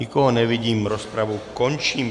Nikoho nevidím, rozpravu končím.